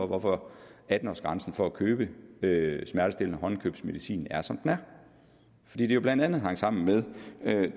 hvorfor atten års grænsen for at købe smertestillende håndkøbsmedicin er som den er fordi det jo blandt andet hang sammen med